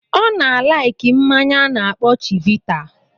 Ọ na-alaiki mmanya a na-akpọ Chivita.